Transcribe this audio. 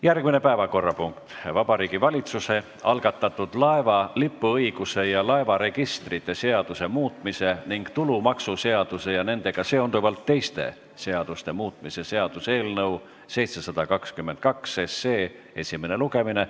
Järgmine päevakorrapunkt: Vabariigi Valitsuse algatatud laeva lipuõiguse ja laevaregistrite seaduse muutmise ning tulumaksuseaduse ja nendega seonduvalt teiste seaduste muutmise seaduse eelnõu 722 esimene lugemine.